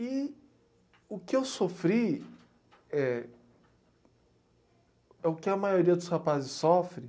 E o que eu sofri é é o que a maioria dos rapazes sofre.